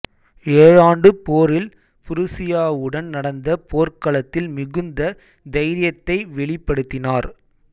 ஏழாண்டுப் போரில் புருசியாவுடன் நடந்த போர்க்களத்தில் மிகுந்த தைரியத்தை வெளிப்படுத்தினார்